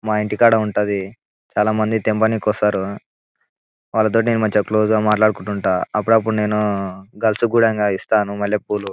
మా ఇంటి కాడ ఉంటది చాలామంది తెమ్మని కొస్తారు వాళ్లతోటి నేను మంచిగా క్లోజ్ గా మాట్లాడుకుంటాను అప్పుడప్పుడు నేను గర్ల్స్ కూడా ఇస్తాను మల్లెపూలు.